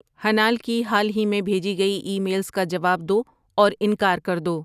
ہنال کی حال ہی میں بھیجی گئی ای میلز کا جواب دو اور انکار کردو